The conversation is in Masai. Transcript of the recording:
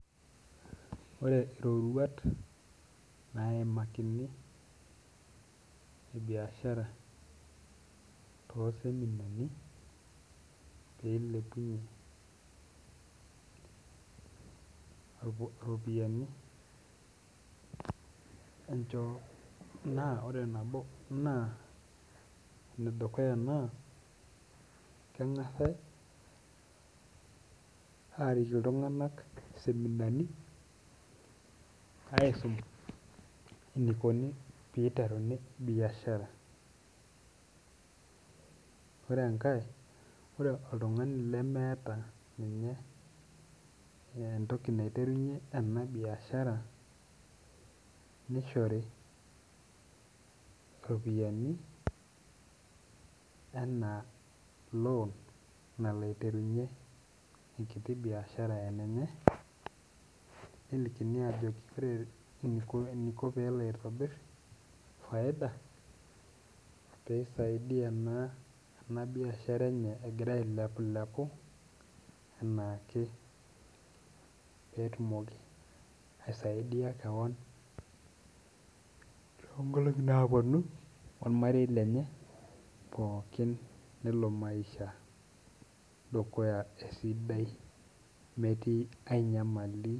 Ore iroruat naimakini e biashara too seminani peilepunyieirpo iropiani encho naa ore nabo naa enedukuya naa keng'asae aarik iltung'anak iseminani aisum enikoni piteruni biashara ore enkae ore oltung'ani lemeeta ninye entoki naiterunyie ena biashara nishori iropiani enaa loan nalo aiterunyie enkiti biashara enenye nelikini ajoki ore eniko peelo aitobirr faida peisaidia naa ena biashara enye egira ailepulepu enaake petumoki aisaidia kewon tonkolong'i naponu ormarei lenye pookin nelo maisha dukuya esidai metii ae nyamali.